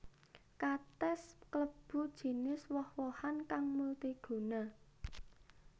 Katès klebu jinis woh wohan kang multiguna